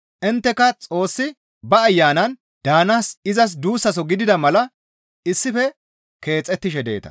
Intteka Xoossi ba Ayanan daanaas izas duussaso gidana mala issife keexettishe deeta.